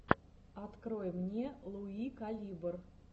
открой мне луи калибр